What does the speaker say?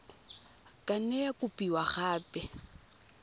ka nne ya kopiwa gape